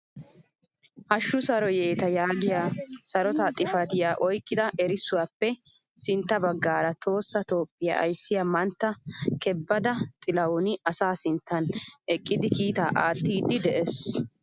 Haashshu saro yeta yaagiyaa sarotaa xifatiyaa oyqqida erissuwaappe sintta baggaara tohossa toophphiyaa ayssiyaa mantta kebeda tilahuni asaa sinttan eqqidi kiitaa aattiidi de'ees!